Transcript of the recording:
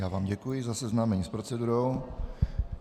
Já vám děkuji za seznámení s procedurou.